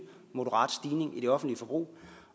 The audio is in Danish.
moderat stigning i det offentlige forbrug